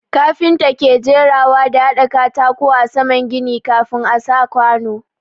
Kafinta ke jerawa da hada katako a saman gini kafin a sa kwanu.